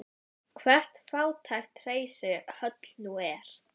Aðskilnaðarstefnan milli svartra og hvítra hafði opinberlega verið aflögð og